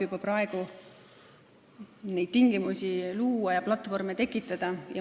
Juba praegu saab neid tingimusi luua ja platvorme tekitada.